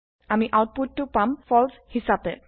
আমি আউতপুতটো পাম ফালছে হিছাপে